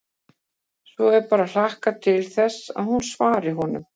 Svo er bara að hlakka til þess að hún svari honum.